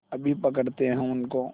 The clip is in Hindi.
अभी पकड़ते हैं उनको